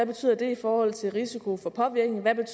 betyder i forhold til risikoen for påvirkning hvad det